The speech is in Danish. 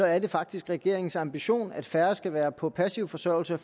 er det faktisk regeringens ambition at færre skal være på passiv forsørgelse og